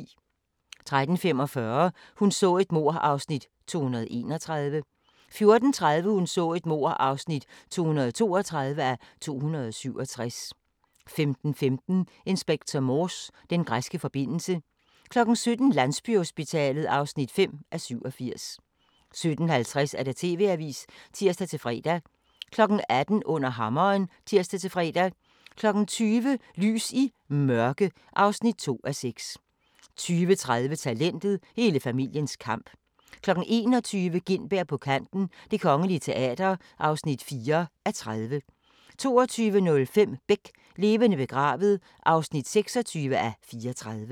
13:45: Hun så et mord (231:267) 14:30: Hun så et mord (232:267) 15:15: Inspector Morse: Den græske forbindelse 17:00: Landsbyhospitalet (5:87) 17:50: TV-avisen (tir-fre) 18:00: Under hammeren (tir-fre) 20:00: Lys i Mørke (4:6) 20:30: Talentet – hele familiens kamp 21:00: Gintberg på kanten - Det Kongelige Teater (4:30) 22:05: Beck – Levende begravet (26:34)